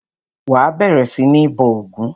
Wà á bẹ̀rẹ̀ sí ní bọ ògún!